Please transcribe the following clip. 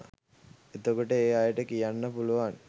එතකොට ඒ අයට කියන්න පුළුවන්